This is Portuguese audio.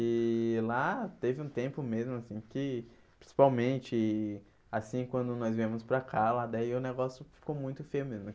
E lá teve um tempo mesmo assim que, principalmente, assim, quando nós viemos pra cá, lá daí o negócio ficou muito feio mesmo.